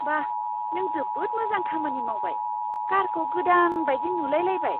बा...! नों जोबोद मोजां खामानि मावबाय। कारखौ गोदान बायदि नुलाय लायबाय!